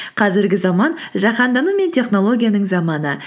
қазіргі заман жаһандану мен технологияның заманы